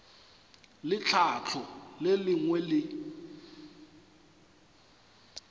le tlhahlo le lengwe le